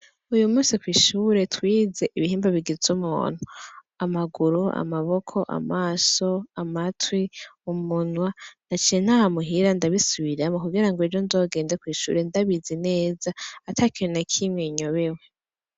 Uyu musi kwishure twize ibihimba bigiz’umuntu. Amaguru, amaboko, amaso , amatwi, umunwa , naciye ntaha muhira ndabisubiramwo kugira ng’ejo nzogende kw’ishuri ndabizi neza ,atakintu nakimwe nyobewe.